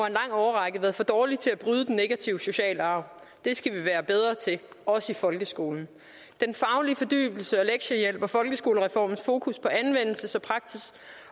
en lang årrække været for dårlige til at bryde den negative sociale arv det skal vi være bedre til også i folkeskolen den faglige fordybelse og lektiehjælp og folkeskolereformens fokus på anvendelses